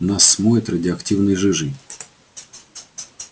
нас смоет радиоактивной жижей